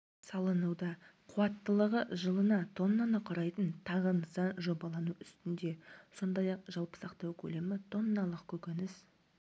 салынуда қуаттылығы жыылына тоннаны құрайтын тағы нысан жобалану үстінде сондай-ақ жалпы сақтау көлемі тонналық көкөніс